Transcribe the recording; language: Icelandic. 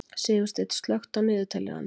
Sigursteinn, slökktu á niðurteljaranum.